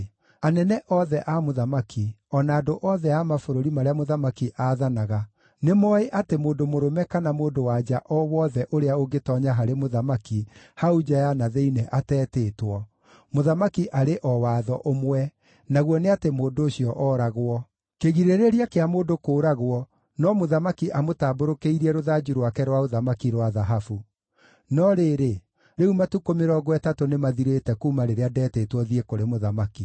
“Anene othe a mũthamaki, o na andũ othe a mabũrũri marĩa mũthamaki aathanaga nĩmooĩ atĩ mũndũ mũrũme kana mũndũ-wa-nja o wothe ũrĩa ũngĩtoonya harĩ mũthamaki hau nja ya na thĩinĩ atetĩtwo, mũthamaki arĩ o watho ũmwe: naguo nĩ atĩ mũndũ ũcio ooragwo. Kĩgirĩrĩria kĩa ũndũ kũũragwo no mũthamaki amũtambũrũkĩirie rũthanju rwake rwa ũthamaki rwa thahabu. No rĩrĩ, rĩu matukũ mĩrongo ĩtatũ nĩmathirĩte kuuma rĩrĩa ndetĩtwo thiĩ kũrĩ mũthamaki.”